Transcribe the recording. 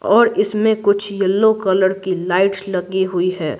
और इसमें कुछ येलो कलर की लाइट्स लगी हुई है।